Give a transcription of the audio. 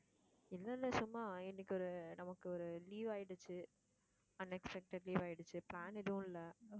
இல்லை, இல்லை சும்மா இன்னைக்கு நமக்கு ஒரு leave ஆயிடுச்சு unexpected leave ஆயிடுச்சு. plan எதுவும் இல்லை